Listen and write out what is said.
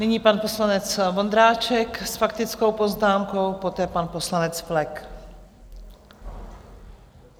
Nyní pan poslanec Vondráček s faktickou poznámkou, poté pan poslanec Flek.